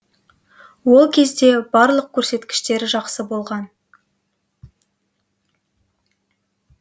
ол кезде барлық көрсеткіштері жақсы болған